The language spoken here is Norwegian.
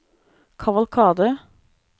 kavalkade